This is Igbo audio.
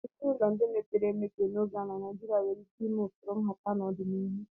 Ezinụlọ ndị mepere emepe n'oge a na Naijiria nwere ike ịme usoro nhata n'ọdịnihu.